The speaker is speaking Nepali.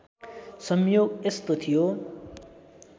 संयोग यस्तो थियो